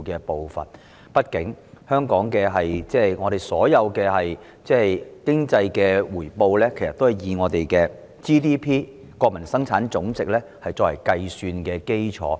畢竟香港的所有經濟回報均以本地生產總值作為計算基礎。